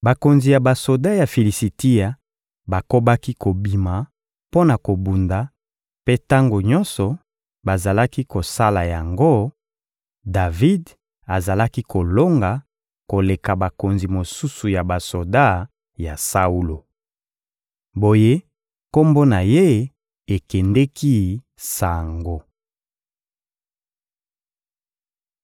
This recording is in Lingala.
Bakonzi ya basoda ya Filisitia bakobaki kobima mpo na kobunda; mpe tango nyonso bazalaki kosala yango, Davidi azalaki kolonga, koleka bakonzi mosusu ya basoda ya Saulo. Boye kombo na ye ekendeki sango.